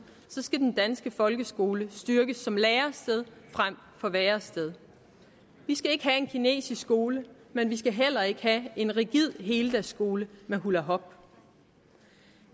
skal den danske folkeskole styrkes som lærested frem for værested vi skal ikke have en kinesisk skole men vi skal heller ikke have en rigid heldagsskole med hulahop